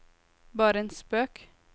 bare en spøk